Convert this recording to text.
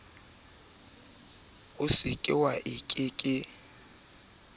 soba la nale a ke